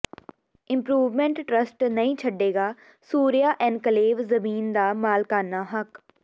improvement trust ਨਹੀਂ ਛੱਡੇਗਾ Surya enclave ਜ਼ਮੀਨ ਦਾ ਮਾਲਕਾਨਾ ਹੱਕ